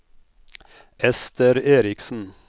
Esther Erichsen